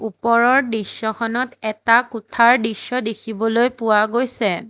ওপৰৰ দৃশ্যখনত এটা কোঠাৰ দৃশ্য দেখিবলৈ পোৱা গৈছে।